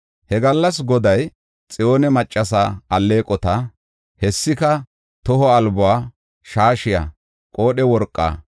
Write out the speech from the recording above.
He gallas Goday Xiyoone maccasa alleeqota, hessika, toho albuwa, shaashiya, qoodhe worqaa,